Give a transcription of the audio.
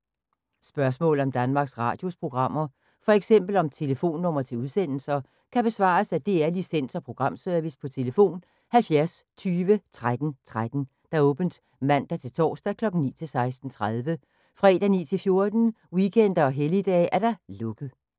Spørgsmål om Danmarks Radios programmer, f.eks. om telefonnumre til udsendelser, kan besvares af DR Licens- og Programservice: tlf. 70 20 13 13, åbent mandag-torsdag 9.00-16.30, fredag 9.00-14.00, weekender og helligdage: lukket.